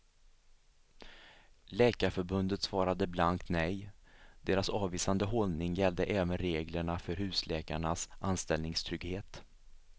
Läkarförbundet svarade blankt nej; deras avvisande hållning gällde även reglerna för husläkarnas anställningstrygghet.